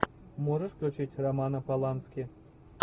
можешь включить романа полански